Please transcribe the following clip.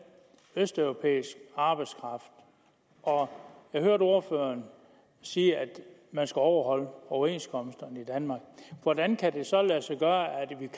østeuropæisk arbejdskraft og jeg hørte ordføreren sige at man skal overholde overenskomsterne i danmark hvordan kan det så lade sig gøre